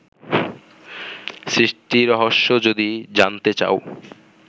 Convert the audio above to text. সৃষ্টিরহস্য যদি জানতে চাও